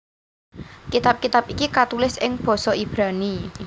Kitab kitab iki katulis ing basa Ibrani